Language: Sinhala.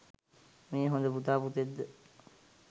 මේ හොඳ පුතා පුතෙක්ද?